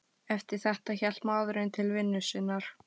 Eftir þetta hélt maðurinn til vinnu sinnar.